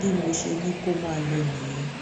bí mo ṣe ní kó máa lọ nìyẹn